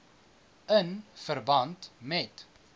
in verband met